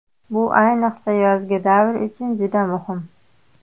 Bu ayniqsa yozgi davr uchun juda muhim.